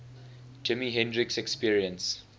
jimi hendrix experience